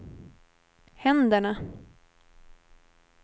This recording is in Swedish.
händerna